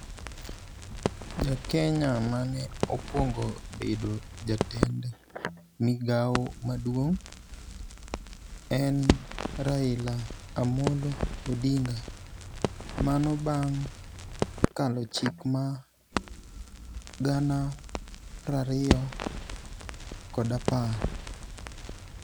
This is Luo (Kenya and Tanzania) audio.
Jakenya mane okuongo bedo jatend migao maduong', en Raila Amolo Odinga. Mano bang', kalo chik ma gana prariyo kod apar